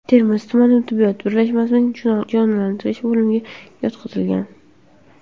Termiz tuman tibbiyot birlashmasining jonlantirish bo‘limiga yotqizilgan.